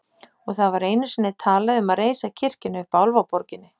Og það var einu sinni talað um að reisa kirkjuna uppi á Álfaborginni.